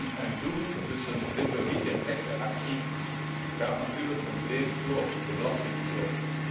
Tussen zeggen en doen, tussen retoriek en echte actie, is natuurlijk een brede kloof, de belastingkloof.